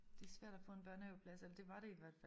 Det svært at få en børnehaveplads eller det var det i hvert fald